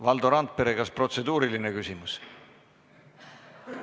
Valdo Randpere, kas protseduuriline küsimus?